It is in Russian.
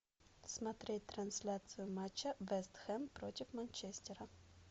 смотреть трансляцию матча вест хэм против манчестера